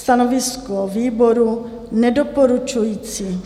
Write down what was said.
Stanovisko výboru nedoporučující.